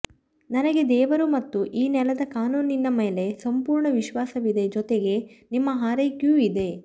ನನಗೆ ದೇವರು ಮತ್ತು ಈ ನೆಲದ ಕಾನೂನಿನ ಮೇಲೆ ಸಂಪೂರ್ಣ ವಿಶ್ವಾಸವಿದೆ ಜೊತೆಗೆ ನಿಮ್ಮ ಹಾರೈಕೆಯೂ ಇದೆ